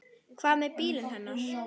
Hvað með bílinn hennar?